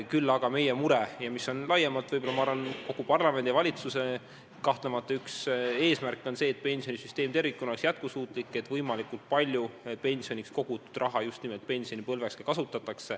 Küll aga meie soov – ja laiemalt küllap kogu parlamendi ja valitsuse eesmärk – on see, et pensionisüsteem tervikuna oleks jätkusuutlik, et võimalikult palju pensioniks kogutud raha just nimelt pensionipõlves kasutatakse.